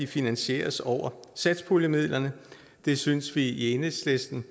finansieres over satspuljemidlerne det synes vi i enhedslisten